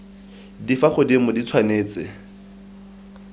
di fa godimo di tshwanetse